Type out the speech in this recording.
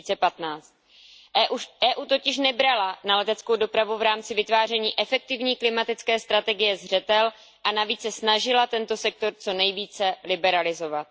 2015. Evropská unie totiž nebrala na leteckou dopravu v rámci vytváření efektivní klimatické strategie zřetel a navíc se snažila tento sektor co nejvíce liberalizovat.